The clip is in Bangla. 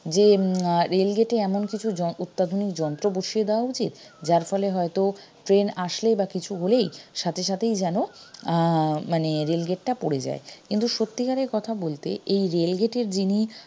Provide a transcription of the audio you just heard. যে উম আহ rail gate এ এমন কিছু অত্যাধুনিক যন্ত্র বসিয়ে দেয়া উচিত যার ফলে হয়তো train আসলে বা কিছু হলেই সাথে সাথেই যেন আহ মানে rail gate টা পড়ে যায় কিন্তু সত্যিকারের কথা বলতে এই rail gate এর যিনি